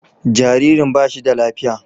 Jaririn ba shi da lafiya.